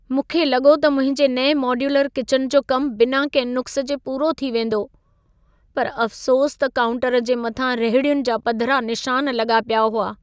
मूंखे लॻो त मुंहिंजे नएं मॉड्यूलर किचन जो कमु बिना कंहिं नुक़्स जे पूरो थी वेंदो, पर अफ़सोसु त काउंटर जे मथां रहिड़ियुनि जा पधिरा निशान लॻा पिया हुआ।